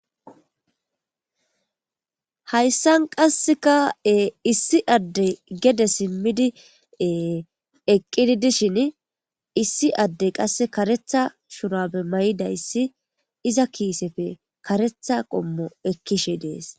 Hayssan qassekae issi adde gede simmidi eqqidi dishin issi addey qasse karetha shurabe may7idayssi iza kiisefe karetha qommo ekkishe dees.